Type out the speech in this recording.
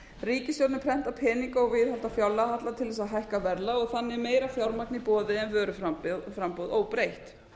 ríkisstjórnin prenta peninga og viðhalda fjárlagahalla til þess að hækka verðlag og þannig meira fjármagn í boði en vöruframboð óbreytt